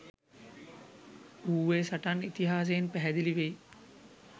ඌවේ සටන් ඉතිහාසයෙන් පැහැදිලි වෙයි.